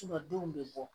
denw bɛ bɔ